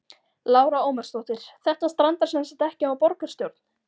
Lára Ómarsdóttir: Þetta strandar semsagt ekki á borgarstjórn?